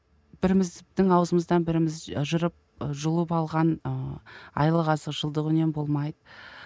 біріміздің аузымыздан біріміз ы жырып ы жұлып алған ыыы айлық азық жылдық үнем болмайды